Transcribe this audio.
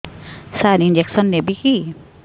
ସାର injection ନେବିକି